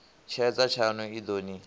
tshedza tshaṋu i ḓo ni